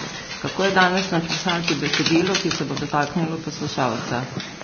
Kako je danes napisati besedilo, ki se bo dotaknilo poslušalca?